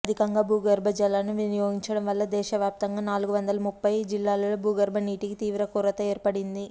అధికంగా భూగర్భజలాలను వినియోగించడం వల్ల దేశవ్యాప్తంగా నాలుగువందల ముప్ఫై జిల్లాల్లో భూగర్భనీటికి తీవ్ర కొరత ఏర్పడింది